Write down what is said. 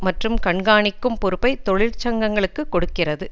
மற்றும் கண்காணிக்கும் பொறுப்பை தொழிற்சங்கங்களுக்கு கொடுக்கிறது